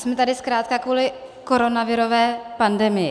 Jsme tady zkrátka kvůli koronavirové pandemii.